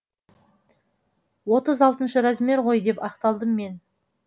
отыз алтыншы размер ғой деп ақталдым мен